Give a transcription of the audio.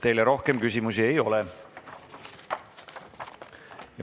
Teile rohkem küsimusi ei ole.